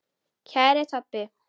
Kæri Tobbi.